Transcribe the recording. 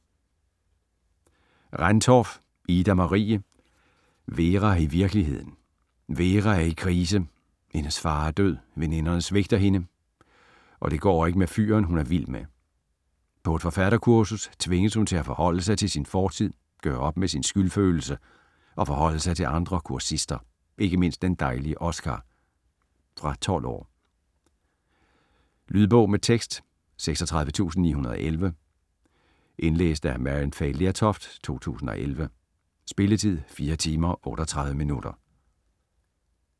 Rendtorff, Ida-Marie: Vera i virkeligheden Vera er i krise: hendes far er død, veninderne svigter hende, og det går ikke med fyren, hun er vild med. På et forfatterkursus tvinges hun til at forholde sig til sin fortid, gøre op med sin skyldfølelse og forholde sig til de andre kursister, ikke mindst den dejlige Oskar. Fra 12 år. Lydbog med tekst 36911 Indlæst af Maryann Fay Lertoft, 2011. Spilletid: 4 timer, 38 minutter.